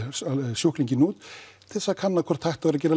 sjúklinginn út til þess að kanna hvort hægt væri að gera